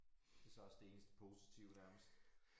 Det så også det eneste positive nærmest